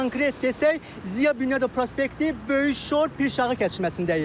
Konkret desək, Ziya Bünyadov prospekti, Böyük Şor, Pirşağı kəsişməsindəyik.